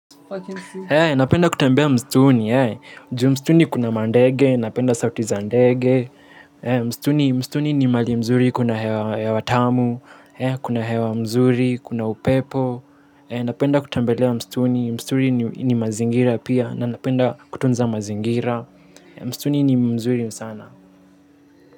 Napenda kutembea mstuni, ju mstuni kuna mandege, napenda sauti za ndege, mstuni ni mahali mzuri kuna hewa tamu, kuna hewa mzuri, kuna upepo, napenda kutambelea mstuni, mstuni ni mazingira pia, napenda kutunza mazingira, mstuni ni mzuri sana.